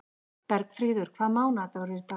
Bergfríður, hvaða mánaðardagur er í dag?